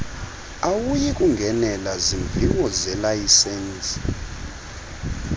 awuyikungenela zimviwo zelayisensi